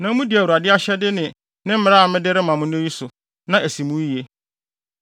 na mudi Awurade ahyɛde ne ne mmara a mede rema mo nnɛ yi so, na asi mo yiye.